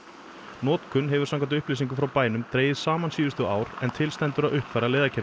notkunin hefur samkvæmt upplýsingum frá bænum dregist saman síðustu ár en til stendur að uppfæra